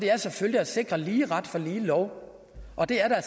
er selvfølgelig at sikre lige ret for lige lov og det er der